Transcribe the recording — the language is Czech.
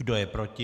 Kdo je proti?